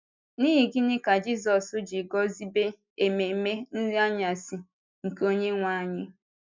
N’ihi gịnị ka Jisọs ji guzobe ememe Nri Anyasị nke Onyenwe Anyị?